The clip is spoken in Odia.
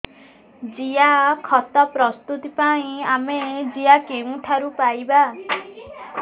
ଜିଆଖତ ପ୍ରସ୍ତୁତ ପାଇଁ ଆମେ ଜିଆ କେଉଁଠାରୁ ପାଈବା